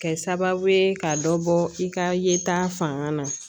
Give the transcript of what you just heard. Kɛ sababu ye ka dɔ bɔ i ka yeta fanga na